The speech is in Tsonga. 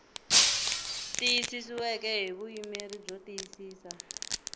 tiyisisiweke hi vuyimeri byo tiyisisa